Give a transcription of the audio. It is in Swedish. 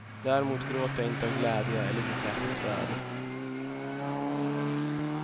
Däremot gråter jag inte av glädje, eller blir särskilt rörd.